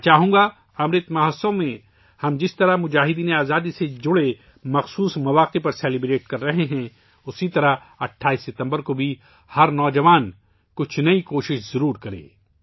میں چاہوں گا کہ جس طرح ہم امرت مہوتسو میں مجاہدینِ آزادی سے متعلق خصوصی مواقع پر جشن منا رہے ہیں، اسی طرح ہر نوجوان کو 28 ستمبر کو کچھ نیا کرنے کی کوشش کرنی چاہیئے